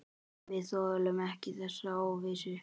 Við þolum ekki þessa óvissu.